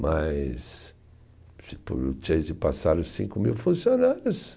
Mas, se pelo Chase, passaram cinco mil funcionários.